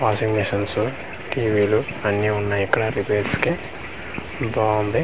Washing machines TV లు అన్నీ ఉన్నాయ్ ఇక్కడ రిపైర్స్ కి బాగుంది .